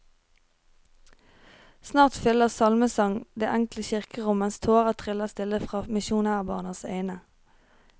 Snart fyller salmesang det enkle kirkerommet mens tårer triller stille fra misjonærbarnas øyne.